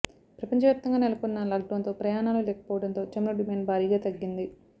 ప్రపంచవ్యాప్తంగా నెలకొన్న లాక్డౌన్తో ప్రయాణాలు లేకపోవడంతో చమురు డిమాండ్ భారీగా తగ్గింది